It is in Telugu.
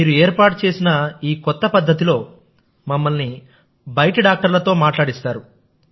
మీరు ఏర్పాటు చేసిన కొత్త పద్ధతిలో మమ్మల్ని బయటి డాక్టర్లతో మాట్లాడిస్తారు